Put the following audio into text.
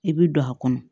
I bɛ don a kɔnɔ